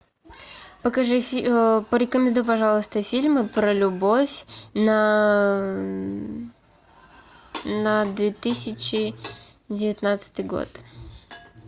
покажи порекомендуй пожалуйста фильмы про любовь на две тысячи девятнадцатый год